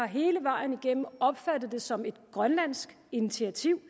hele vejen igennem opfattet det som et grønlandsk initiativ